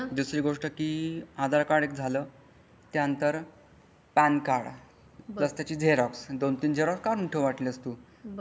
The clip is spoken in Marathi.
दुसरी गोष्ट की आधार कार्ड एक झालं त्यानंतर पॅन कार्ड बस त्याची झरोक्स दोन तीन झरोक्स काढून ठेव वाटल्यास तू.